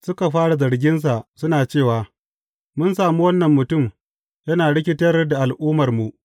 Suka fara zarginsa suna cewa, Mun sami wannan mutum yana rikitar da al’ummarmu.